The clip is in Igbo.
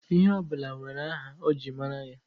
Ihe ọ bụla nwere aha e ji mara ya.